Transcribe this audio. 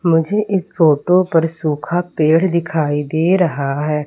मुझे इस फोटो पर सूखा पेड़ दिखाई दे रहा है।